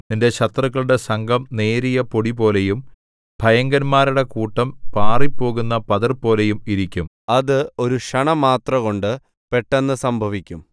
നിന്റെ ശത്രുക്കളുടെ സംഘം നേരിയ പൊടിപോലെയും ഭയങ്കരന്മാരുടെ കൂട്ടം പാറിപ്പോകുന്ന പതിർപോലെയും ഇരിക്കും അത് ഒരു ക്ഷണമാത്രകൊണ്ടു പെട്ടെന്ന് സംഭവിക്കും